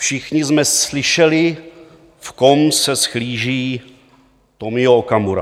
Všichni jsme slyšeli, v kom se zhlíží Tomio Okamura.